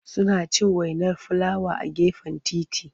Suna cin wainar filawa a gefen titi.